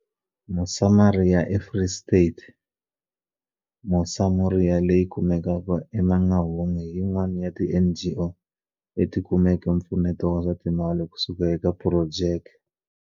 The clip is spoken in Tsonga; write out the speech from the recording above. Mosamoria eFree State, Mosamoria, leyi kumekaka eMangaung hi yin'wana ya tiNGO leti kumeke mpfuneto wa swa timali kusuka eka phurojeke.